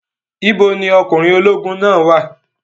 Ibo ni ọkùnrin ológun náà wà?